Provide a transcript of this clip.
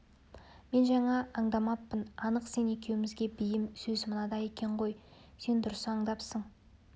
мен жаңа аңдамаппын анық сен екеумізге бейім сөз мынада екен ғой сен дұрыс аңдапсың